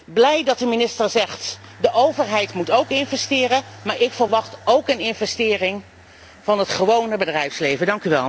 Ik ben blij dat de minister zegt dat de overheid moet investeren, maar ik verwacht ook een investering van het gewone bedrijfsleven.